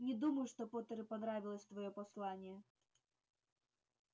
не думаю что поттеру понравилось твоё послание